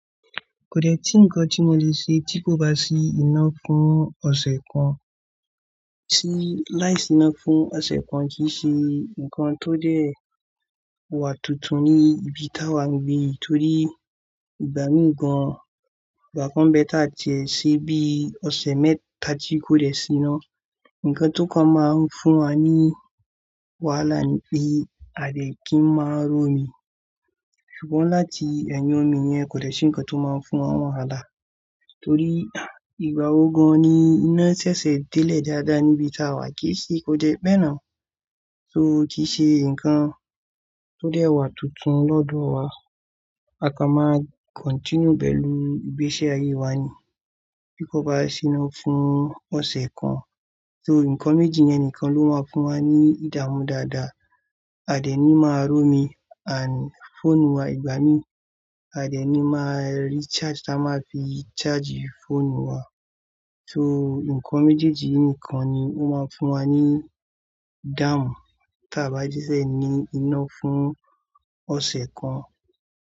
Kò dẹ́ tí nǹkan tí mo lè ṣe tí kò bá sí iná fún ọ̀sẹ̀ kan. Sí láìsí iná fún ọ̀sẹ̀ kan kì í ṣe nǹkan tó dẹ́ wà tuntun ní ibi tá wa ń gbé torí ìgbà mí gan, ìgbà kan bẹ́e ta ti ẹ sí bí ọ̀sẹ̀ mẹ́ta tí kò dẹ́ sí iná. Ǹkan tó kan máa ń fún wa ní wàhálà ni pé, à dẹ́ kín máa rómi, ṣùgbọ́n láti ẹ̀yìn omi yẹn kò dẹ́ sí ǹkan tó máa ń fún wa wàhálà. Torí ìgbà wo gan ni iná ṣẹṣẹ délẹ̀ dáadáa níbi tá wa kì í ṣe kò dẹ́ pẹ́ náà. So kì í ṣe ǹkan tó dẹ́ wà tuntun lọ́dọ̀ wa. A kan máa continue pẹ̀lú ìgbési ayé wa ni tí kò bá sí iná fún ọ̀sẹ̀ kan. So ǹkan méjì yẹn nìkan ló máa ń fún wa ní ìdààmú dáadáa. Àdẹ́ ni máa rómi and fóònù wa ìgbà mí, àdẹ́ ni máa rí charge táa máa fi charge fóònù wa. So ǹkan méjèèjì yi nìkan ni ó máa ń fún wa ní dáàmú ta bá jẹ́ ṣẹ ní iná fún ọ̀sẹ̀ kan.